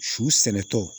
Su sɛnɛtɔ